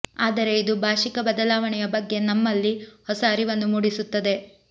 ಆದರೆ ಇದು ಭಾಷಿಕ ಬದಲಾವಣೆಯ ಬಗ್ಗೆ ನಮ್ಮಲ್ಲಿ ಹೊಸ ಅರಿವನ್ನು ಮೂಡಿಸುತ್ತದೆ